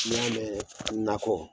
N'i y'a mɛ nakɔ